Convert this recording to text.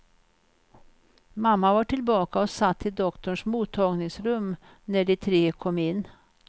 Mamma var tillbaka och satt i doktorns mottagningsrum när de tre kom in.